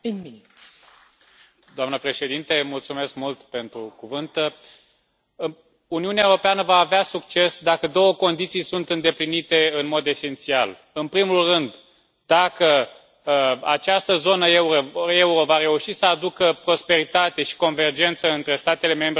Doamnă președinte, Uniunea Europeană va avea succes dacă două condiții sunt îndeplinite în mod esențial în primul rând, dacă această zonă euro va reuși să aducă prosperitate și convergență între statele membre ale Uniunii Europene,